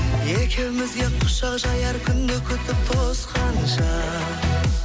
екеумізге құшақ жаяр күнді күтіп тосқанша